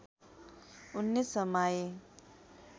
उनले समाए